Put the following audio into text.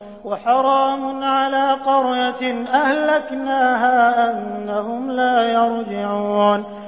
وَحَرَامٌ عَلَىٰ قَرْيَةٍ أَهْلَكْنَاهَا أَنَّهُمْ لَا يَرْجِعُونَ